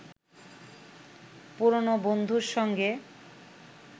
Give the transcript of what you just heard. পুরনো বন্ধুর সঙ্গে